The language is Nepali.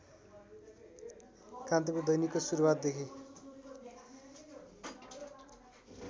कान्तिपुर दैनिकको सुरूवातदेखि